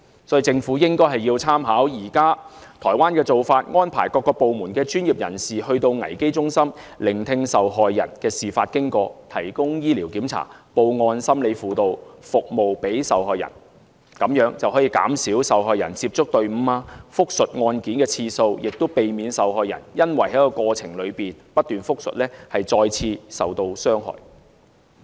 所以政府應該參考現時台灣的做法，安排各個部門的專業人士前往危機中心，聆聽受害人講述事發經過，並提供醫療檢查、報案、心理輔導服務給受害人，這樣便可以減少受害人接觸隊伍和複述案件的次數，也避免受害人因為過程中不斷複述而再次受到傷害。